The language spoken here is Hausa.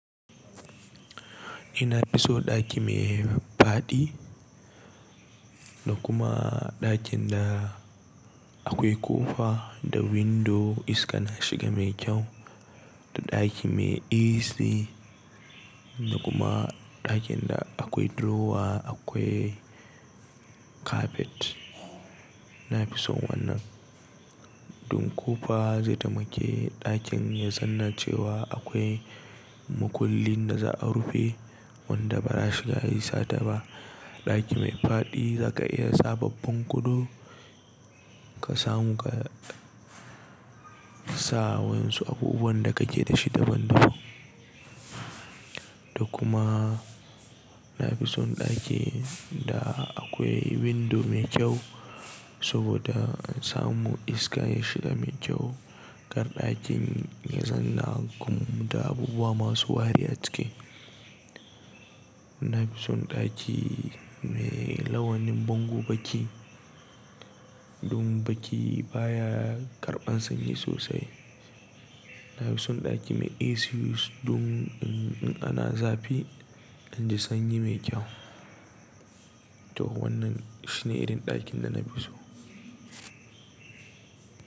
Ina fi so ɗaki me faɗi da kuma ɗakin da akwai ƙofa da windo iska na shiga mai kyau da ɗaki me AC da kuma ɗakin da akwai drawer akwai carpet. Na fi son wannan don ƙofa zai tamake ɗakin ya zanna cewa akwai makullin da za a rufe wanda ba za'a shiga yi sata ba. Ɗaki mai faɗi zaka iya sa babban gado ka samu ka sa wa'yansu abubuwan da kake dashi daban-daban. Da kuma na fi son ɗaki da akwai window mai kyau saboda in samu iska ya shiga mai kyau. Kar ɗakin ya zanna kuma da abubuwa masu wari a ciki. Na fi son ɗaki me launin bango baki don baki baya karɓan sanyi sosai. Na fi son ɗaki me AC yus don in ana zafi inji sanyi mai kyau. To wannan shi ne irin ɗakin da na fi so.